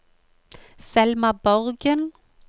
Selma Borgen